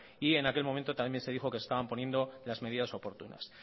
y en aquel momento también se dijo que se estaban poniendo las medidas oportunas